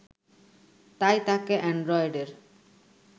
তাই তাকে অ্যানড্রয়েডের